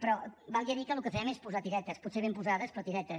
però valgui a dir que el que fem és posar tiretes potser ben posades però tiretes